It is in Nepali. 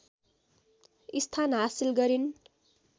स्थान हासिल गरिन्